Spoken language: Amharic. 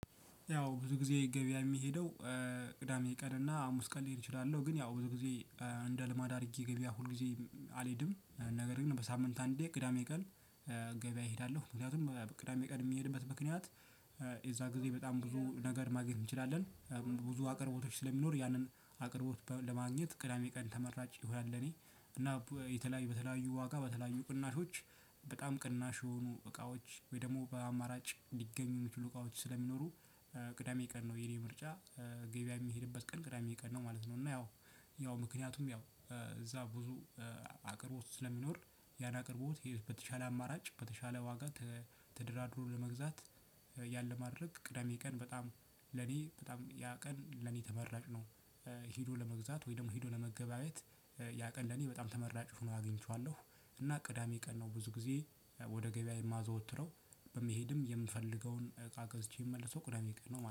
ያው ብዙ ጊዜ ገበያ የምሄደው። ቅዳሜ ቀንና ሀሙስ ቀን ልሄድ እችላለሁ ግን ያው ብዙ ጊዜ እንደ ልማድ አድርጌ ገበያ ሁልጊዜ አልሄድም ነገር ግን በሳምንት አንዴ ቅዳሜ ቀን። ገበያ እሄዳለሁ ምክንያቱም ቅዳሜ ቀን የምሄድበት ምክንያት የዛ ጊዜ በጣም ብዙ ነገር ማግኘት እንችላለን። ብዙ አቅርቦቶች ስለሚኖር ያነን አቅርቦት ለማግኝት ቅዳሜ ቀን ተመራጭ ይሆናል ለኔ እና እና የተለያዩ በተለያዩ ዋጋ በተለያዩ ቅናሾች። በጣም ቅናሽ የሆኑ እቃዎች ወይ ደግሞ በአማራጭ ሊገኙ የሚችሉ እቃዎች ስለሚኖሩ ቅዳሜ ቀን ነው የኔ ምርጫ። ገበያ የሚሄድበት ቀን ቅዳሜ ቀን ነው ማለት ነው። እና ያው ያው ምክንያቱም ያው እዛ ብዙ አቅርቦት ስለሚኖር ያን አቅርቦት የበተሻለ አማራጭ በተሻለ ዋጋ። ተደራድሮ ለመግዛት ያን ለማድረግ ቅዳሜ ቀን በጣም ለኔ በጣም ያ ቀን ለኔ ተመራጭ ነው። ሄዶ ለመግዛት ወይ ደግሞ ሄዶ ለመገበያየት ያቀን ለኔ በጣም ተመራጭ ሆኖ አግኝቼዋለሁ። እና ቅዳሜ ቀን ነው ብዙ ጊዜ ወደ ገበያ የማዘወትረው። በመሄድም የምፈልገውን እቃ ገዝቼ የመለሰው ቅዳሜ ቀን ነው